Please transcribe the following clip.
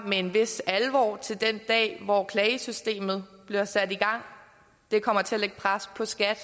med en vis alvor til den dag hvor klagesystemet bliver sat i gang det kommer til at lægge pres på skat